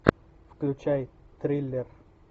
включай триллер